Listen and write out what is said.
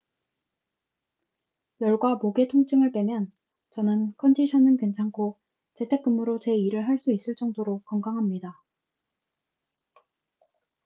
열과 목의 통증을 빼면 저는 컨디션은 괜찮고 재택 근무로 제 일을 할 수 있을 정도로 건강합니다